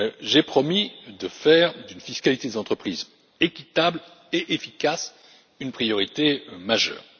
d'un an, j'ai promis de faire d'une fiscalité des entreprises équitable et efficace une priorité majeure.